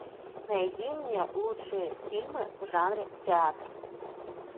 найди мне лучшие фильмы в жанре театр